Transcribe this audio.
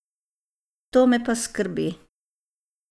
To me pa skrbi.